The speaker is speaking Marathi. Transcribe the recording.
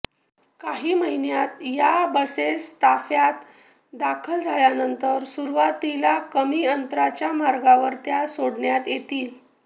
काही महिन्यांत या बसेस ताफ्यात दाखल झाल्यानंतर सुरुवातीला कमी अंतराच्या मार्गावर त्या सोडण्यात येतील